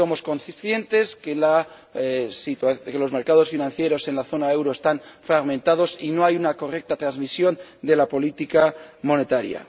Somos conscientes de que los mercados financieros en la zona del euro están fragmentados y no hay una correcta transmisión de la política monetaria.